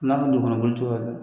N'a kun ɲɔgɔnɔ bolo tu yɛrɛ.